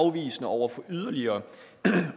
afvisende over for yderligere